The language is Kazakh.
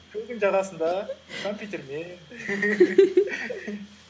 көлдің жағасында компьютермен